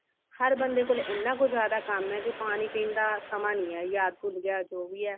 ਹਰ ਬਣਦੇ ਕੋਲ ਜਿਆਦਾ ਕੰਮ ਹੈ ਕਿਉਂਕਿ ਪਾਣੀ ਪੀਣ ਦਾ ਸਮਾ ਨੀ ਹੈ ਯਾਦ ਭੁਲ ਗਿਆ ਜੋ ਵੀ ਹੈ